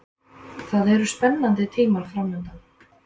Það eru spennandi tímar framundan.